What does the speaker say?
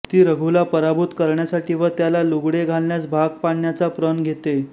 ती रघुला पराभूत करण्यासाठी व त्याला लुगडे घालण्यास भाग पाडण्याचा प्रण घेते